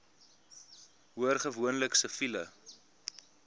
hoor gewoonlik siviele